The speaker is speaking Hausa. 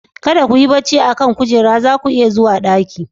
Kada ku yi barci a kan kujera, za ku iya zuwa ɗaki.